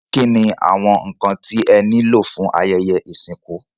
Kíni àwọn nkan tí ẹ ní lò fún ayẹyẹ ìsìnkú.?